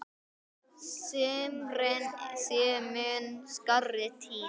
Sumrin séu mun skárri tími.